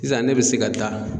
Sisan ne bɛ se ka taa